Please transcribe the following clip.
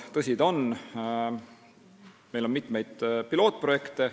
Tõsi ta on, meil on mitmeid pilootprojekte.